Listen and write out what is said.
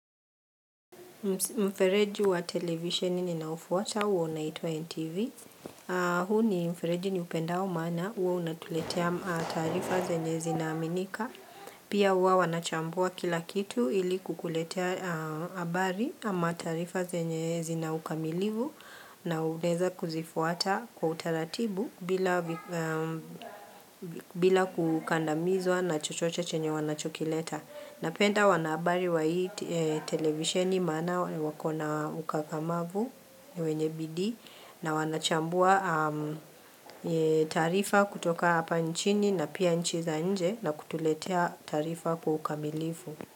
Mfereji wa televisheni ninaofuata huwa unaitwa NTV. Huu ni mfereji niupendao maana huwa unatuletea taarifa zenye zinaaminika. Pia huwa wanachambua kila kitu ili kukuletea habari ama taarifa zenye zina ukamilivu na unaweza kuzifuata kwa utaratibu bila kukandamizwa na chochoche chenye wanachokileta. Napenda wanahabari wa hii televisioni maana wako na ukakamavu, ni wenye bidii na wanachambua taarifa kutoka hapa nchini na pia nchi za nje na kutuletea taarifa kwa ukamilifu.